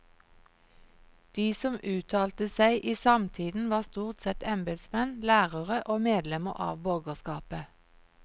De som uttalte seg i samtiden var stort sett embetsmenn, lærere og medlemmer av borgerskapet.